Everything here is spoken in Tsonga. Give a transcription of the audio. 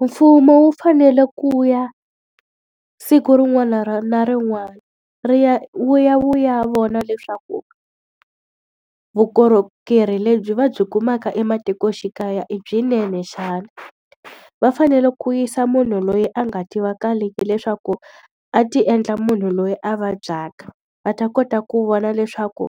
Mfumo wu fanele ku ya siku rin'wana na rin'wana ri ya wu ya wu ya vona leswaku vukorhokeri lebyi va byi kumaka ematikoxikaya i byinene xana. Va fanele ku yisa munhu loyi a nga tivakaleki leswaku a ti endla munhu loyi a vabyaka, va ta kota ku vona leswaku